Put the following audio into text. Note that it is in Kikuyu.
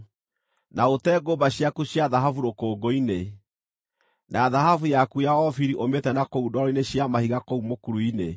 na ũte ngũmba ciaku cia thahabu rũkũngũ-inĩ, na thahabu yaku ya Ofiri ũmĩte na kũu ndwaro-inĩ cia mahiga kũu mũkuru-inĩ,